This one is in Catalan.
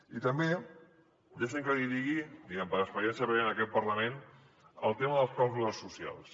i també deixi’m que li digui diguem ne per experiència prèvia en aquest parlament el tema de les clàusules socials